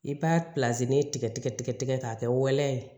I b'a tigɛ tigɛ tigɛ k'a kɛ waleya ye